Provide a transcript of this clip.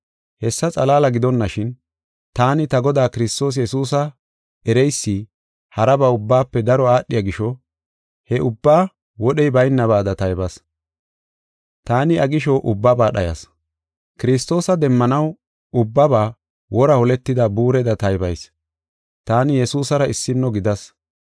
Hessa xalaala gidonashin, taani ta Godaa Kiristoos Yesuusa ereysi haraba ubbaafe daro aadhiya gisho, he ubbaa wodhey baynabaada taybas. Taani iya gisho ubbaba dhayas. Kiristoosa demmanaw ubbaba wora holetida buureda taybayis. Taani Yesuusara issino gidas.